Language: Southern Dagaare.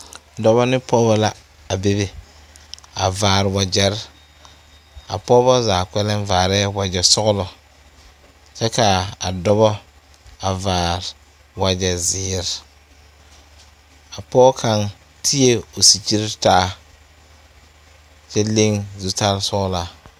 Dɔba ne pɔgeba la bebe a vaare wagyɛre a pɔgeba zaa vaare wagyɛ sɔglɔ kyɛ kaa a Dɔba a vaare wagyɛ zeɛre a pɔge kaŋ ti la o sikyiri taa kyɛ leŋ zutal sɔglaa